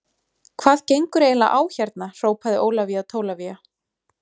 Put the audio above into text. Hvað gengur eiginlega á hérna hrópaði Ólafía Tólafía.